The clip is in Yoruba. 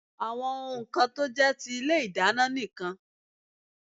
Àwọn ohun kan tó jé ti ilé ìdáná nì kan